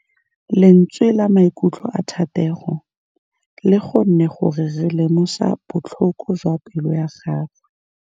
Lentswe la maikutlo a Thategô le kgonne gore re lemosa botlhoko jwa pelô ya gagwe.